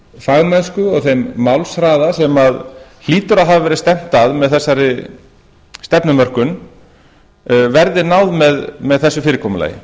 fagmennsku og þeim málshraða sem hlýtur að hafa verið stefnt að með þessari stefnumörkun verði náð með þessu fyrirkomulagi